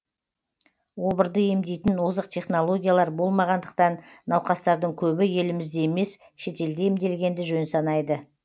обырды емдейтін озық технологиялар болмағандықтан науқастардың көбі елімізде емес шетелде емделгенді жөн санайды